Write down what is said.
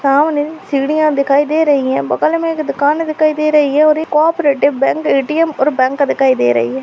सामने सिडिया दिखाई दे रही है बगल मे एक दुकान दिखाई दे रही है और एक कोऑपरेटिव बैंक ए_टी_एम और बैंक दिखाई दे रही है।